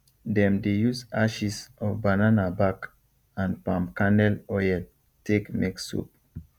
them de use ashes of banana back and palm kernel oil take make soap